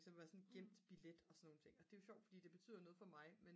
som var sådan gemt billet og det er jo sjovt fordi det betyder noget for mig